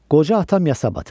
Qoca atam yasa batır.